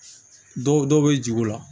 Dɔw dɔ bɛ jigi o la